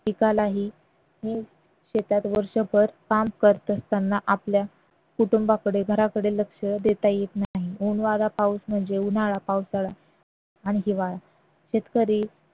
पिकालाही वर्षभर काम करत असताना आपल्या कुटुंबाकडे घराकडे लक्ष देता येत नाही ऊन वारा पाऊस म्हणजे उन्हाळा पावसाळा आणि हिवाळा शेतकरी